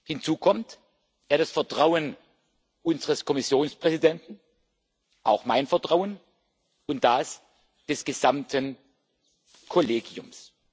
Hinzu kommt Er hat das Vertrauen unseres Kommissionspräsidenten, auch mein Vertrauen und das des gesamten Kollegiums.